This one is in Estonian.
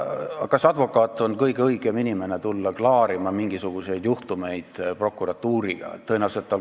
Aga kas advokaat on kõige õigem inimene, et tulla klaarima mingisuguseid prokuratuuriga seotud juhtumeid?